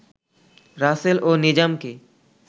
রাসেল ও নিজামকে